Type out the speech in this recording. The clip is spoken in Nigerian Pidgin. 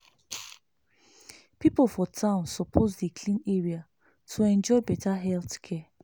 people for town suppose dey clean area to enjoy better health care.